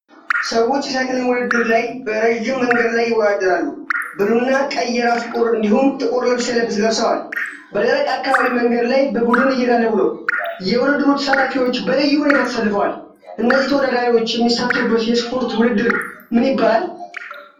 ሰዎች የሳይክሊንግ ውድድር ላይ በረዥም መንገድ ላይ ይወዳደራሉ። ብሉ እና ቀይ የራስ ቁር እንዲሁም ጥቁር ልብስ ለብሰዋል። በደረቅ አካባቢ መንገድ ላይ በቡድን እየጋለቡ ነው። የውድድሩ ተሳታፊዎች በልዩ ሁኔታ ተሰልፈዋል። እነዚህ ተወዳዳሪዎች የሚሳተፉበት የስፖርት ውድድር ምን ይባላል?